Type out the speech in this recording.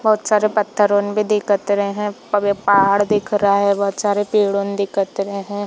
बहोत सारे पत्थर ऑन भी दिखत रहे है पा पहाड़ दिख रहा है बहोत सारे पेड़ ऑन दिख रहे है।